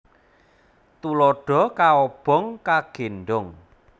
Tuladha kaobong kagéndhong